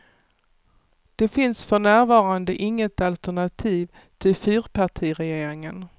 Det finns för närvarande inget alternativ till fyrpartiregeringen.